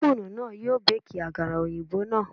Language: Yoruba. Ófúnù náà yóò Báàkì àkàrà òyìnbó náà.